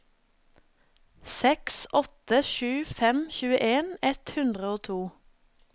seks åtte sju fem tjueen ett hundre og to